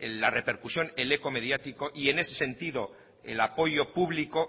la repercusión el eco mediático y en ese sentido el apoyo público